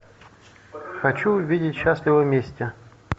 хочу увидеть счастливы вместе